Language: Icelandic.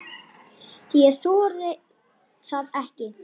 Ég þori það ekki.